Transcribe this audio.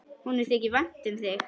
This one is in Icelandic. Honum þykir vænt um mig.